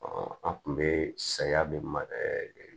an tun bɛ saya de ma